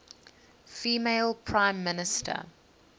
female prime minister